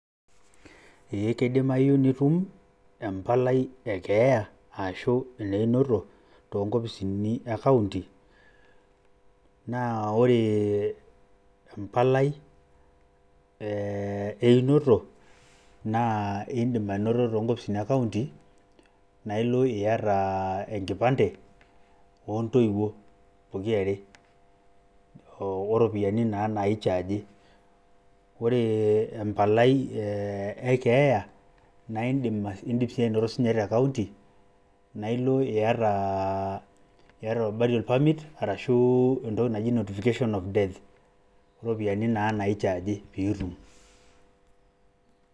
eeh kidimayu empalai e keeya ashu ene inoto too nkopisin na ore empalai e einoto naa indim anoto too nkopisini e [cs[county naa ilo iata enkipante oontoiwuo pokirare, oropiyiani naa naichaji . ore empalai e keeya na indim e indim sinye anoto te county na ilo aiata burial permit arashu entoki naji notification of death oropiyiani naa naichargi pitum.